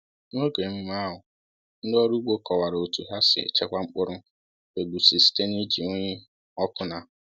N’oge emume ahụ, ndị ọrụ ugbo kọwara otu ha si echekwa mkpụrụ egusi site n’iji unyi ọkụ na